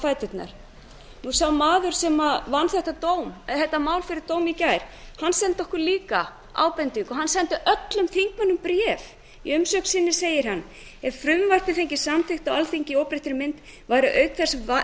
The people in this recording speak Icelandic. fæturnar sá maður sem vann þetta mál fyrir dómi í gær sendi okkur líka ábendingu hann sendi öllum þingmönnum bréf í umsögn sinni segir hann ef frumvarpið fengist samþykkt á alþingi í óbreyttri mynd væri auk þess